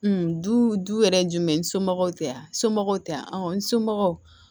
du yɛrɛ ye jumɛn ye n somɔgɔw tɛ yan somɔgɔw tɛ yan n somɔgɔw